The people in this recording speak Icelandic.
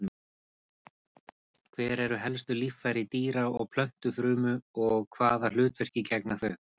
Hver eru helstu líffæri dýra- og plöntufrumu og hvaða hlutverki gegna þau?